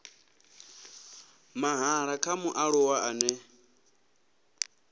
mahala kha mualuwa ane a